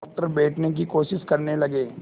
doctor बैठने की कोशिश करने लगे